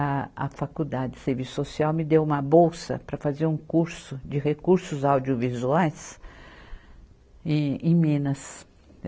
A, a faculdade de serviço social me deu uma bolsa para fazer um curso de recursos audiovisuais em, em Minas.